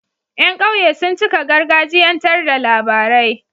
Yan ƙauye sun cika gargajiyan tar da labarai